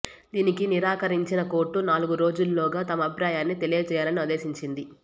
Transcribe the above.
దీనికి నిరాకరిం చిన కోర్టు నాలుగురోజుల్లోగా తమ అభిప్రాయాన్ని తెలియ జేయాలని ఆదేశించింది